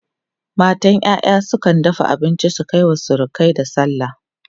matan ƴaƴa sun dafa abinci sun Kai wa surukai da sallah